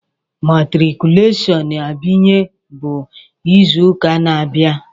Matriculation Abiye bụ izu ụka na-abịa.